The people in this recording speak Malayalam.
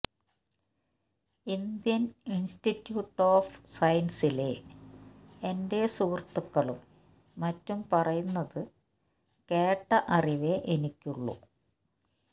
ഇന്ഡ്യന് ഇന്സ്റ്റിറ്റിയൂട്ട് ഒഫ് സയന്സിലെ എന്റെ സുഹൃത്തുക്കളും മറ്റും പറയുന്നതു കേട്ട അറിവേ എനിക്കുള്ളൂ